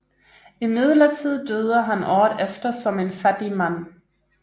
Imidlertid døde han året efter som en fattig mand